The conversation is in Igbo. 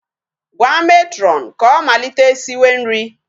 Gwa matron ka ọ malite siwe nri.